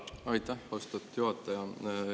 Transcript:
Aitäh, austatud juhataja!